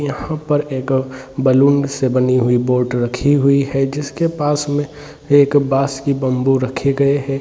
यहाँ पर एक अ बलून से बनी हुई बोट रखी हुई है जिसके पास में एक बास के बम्बू रखे गए है।